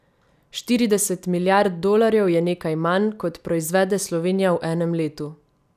Štirideset milijard dolarjev je nekaj manj, kot proizvede Slovenija v enem letu.